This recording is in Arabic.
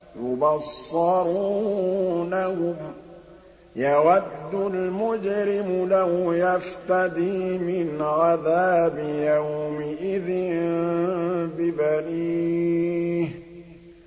يُبَصَّرُونَهُمْ ۚ يَوَدُّ الْمُجْرِمُ لَوْ يَفْتَدِي مِنْ عَذَابِ يَوْمِئِذٍ بِبَنِيهِ